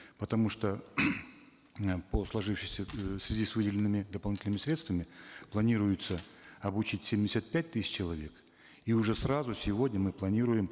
потому что э по сложившейся э в связи с выделенными дополнительными средствами планируется обучить семьдесят пять тысяч человек и уже сразу сегодня мы планируем